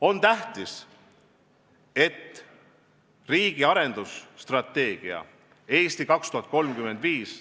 Pean väga tähtsaks, et riigi arengustrateegia "Eesti 2035",